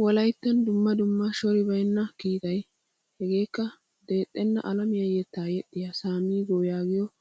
Wolayttattuwan dumma dumma shori baynna kiittay heegaakeena dexxena alamiyaa yetta yexiyaa samigo yaagiyoge